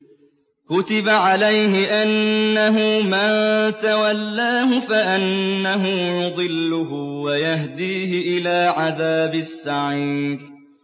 كُتِبَ عَلَيْهِ أَنَّهُ مَن تَوَلَّاهُ فَأَنَّهُ يُضِلُّهُ وَيَهْدِيهِ إِلَىٰ عَذَابِ السَّعِيرِ